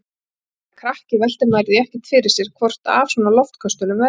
Þegar maður er krakki veltir maður því ekkert fyrir sér hvort af svona loftköstulum verði.